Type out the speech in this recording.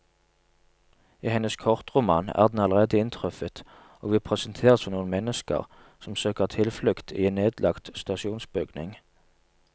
I hennes kortroman er den allerede inntruffet, og vi presenteres for noen mennesker som søker tilflukt i en nedlagt stasjonsbygning.